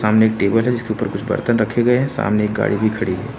सामने एक टेबल है जिसके ऊपर कुछ बर्तन रखे गए हैं सामने एक गाड़ी भी खड़ी है।